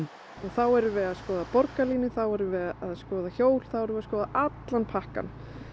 þá erum við að skoða borgarlínu þá erum við að skoða hjól þá erum við að skoða allan pakkann